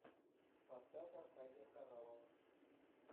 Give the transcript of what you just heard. поставь аркадия хоралова